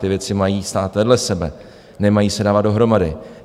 Ty věci mají stát vedle sebe, nemají se dávat dohromady.